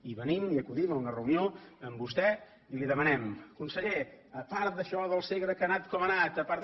i venim i acudim a una reunió amb vostè i li demanem conseller a part d’això del segre que ha anat com ha anat a part de